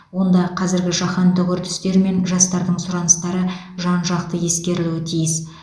онда қазіргі жаһандық үрдістер мен жастардың сұраныстары жан жақты ескерілуі тиіс